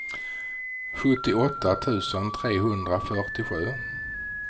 sjuttioåtta tusen trehundrafyrtiosju